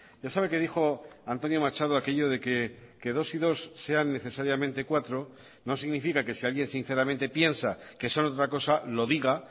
ya sabe que dijo antonio machado aquello de que dos y dos sean necesariamente cuatro no significa que si alguien sinceramente piensa que son otra cosa lo diga